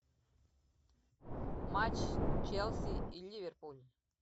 матч челси и ливерпуль